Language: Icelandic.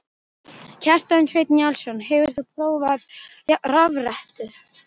Kjartan Hreinn Njálsson: Hefur þú prófað rafrettu?